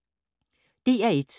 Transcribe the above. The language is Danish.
DR1